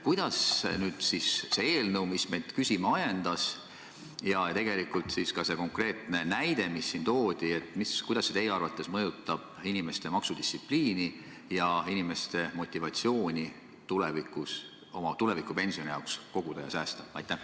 Kuidas see eelnõu, mis meid küsima ajendas, nagu ka see konkreetne näide, mis siin toodi, teie arvates mõjutab inimeste maksudistsipliini ja inimeste motivatsiooni oma tuleviku pensioni jaoks koguda ja säästa?